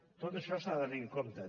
tot això s’ha de tenir en compte